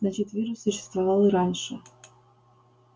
значит вирус существовал и раньше